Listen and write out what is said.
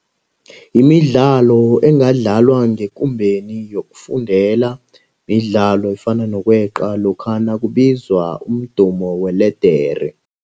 Imidlalo engadlaliwa ngekumbeni yokufundela midlalo efana nokweqa lokha nakubizwa umdumo weledere.